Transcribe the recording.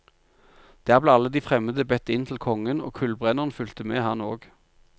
Der ble alle de fremmede bedt inn til kongen, og kullbrenneren fulgte med, han òg.